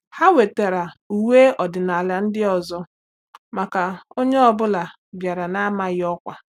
Ha wetara uwe ọdịnala ndị ọzọ maka onye ọ bụla bịara n'amaghị ọkwa.